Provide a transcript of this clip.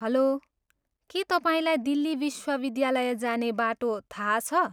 हलो, के तपाईँलाई दिल्ली विश्वविद्यालय जाने बाटो थाहा छ?